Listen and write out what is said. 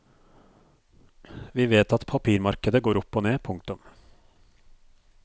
Vi vet at papirmarkedet går opp og ned. punktum